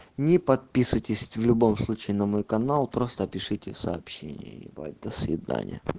не подписывайтесь в любом случае на мой канал просто пишите сообщения ебать до свидания